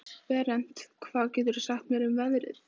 Berent, hvað geturðu sagt mér um veðrið?